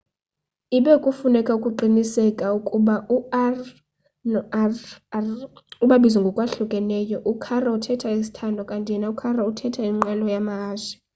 ibe kufuneka uqiniseke ukuba u-r no-rr ubabiza ngokwahlukileyo u-caro uthetha sithandwa kanti yena u-carro uthetha inqwelo yamahashe